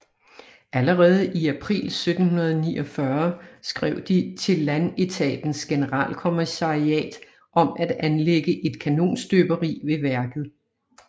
Allerede i april 1749 skrev de til Landetatens Generalkommissariat om at anlægge et kanonstøberi ved værket